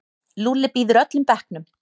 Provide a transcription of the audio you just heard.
Lúlli býður öllum bekknum.